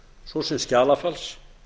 svo sem skjalafals